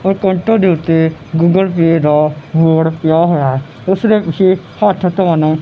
ਔਰ ਕਾਊਂਟਰ ਦੇ ਉੱਤੇ ਗੂਗਲ ਪੇ ਦਾ ਬੋਰਡ ਪਿਆ ਹੋਇਆ ਹੈ ਉਸਦੇ ਪਿੱਛੇ ਹੱਥ ਧੋਣ--